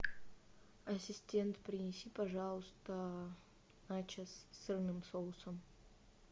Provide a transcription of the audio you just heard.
ассистент принеси пожалуйста начос с сырным соусом